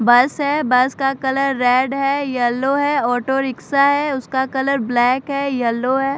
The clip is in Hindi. बस है बस का कलर रेड है येलो है ऑटो रिक्क्षा है उसका कलर ब्लैक है येलो है।